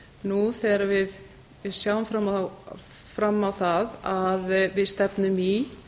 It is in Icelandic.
nú þegar við sjáum fram á það að við stefnum í